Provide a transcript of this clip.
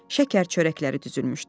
şəkər çörəkləri düzülmüşdü.